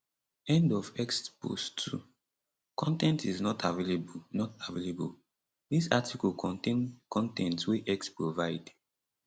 end of x post 2 con ten t is not available not available dis article contain con ten t wey x provide